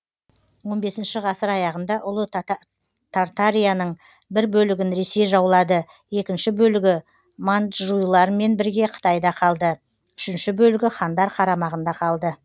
он бесінші ғасыр аяғында ұлы тартарияның бір бөлігін ресей жаулады екінші бөлігі манджуйлармен бірге қытайда қалды үшінші бөлігі хандар қарамағында қалды